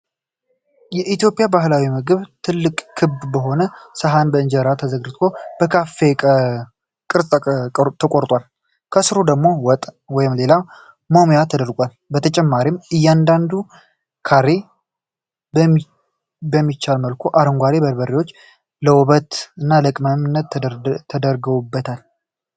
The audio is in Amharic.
የኢትዮጵያን ባህላዊ ምግብ ነው። ትልቅና ክብ በሆነ ሰሃን ላይ እንጀራ ተዘርግቶ በካሬ ቅርጽ ተቆርጧል። ከስሩ ደግሞ ወጥ (ወይም ሌላ መሙያ) ተደርጓል። በተጨማሪም፣ እያንዳንዱ ካሬ በሚቻል መልኩ አረንጓዴ በርበሬዎች ለ ውበት እና ለቅመምነት ተደርገውበታል።